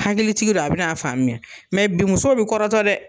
Hakilitigi don a bin'a faamuya mɛ bi musow bi kɔrɔtɔ dɛ